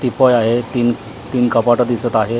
Teapoy आहे तीन तीन कपाटं पण दिसत आहेत .